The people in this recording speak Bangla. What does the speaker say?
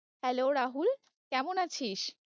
Hello রাহুল কেমন আছিস?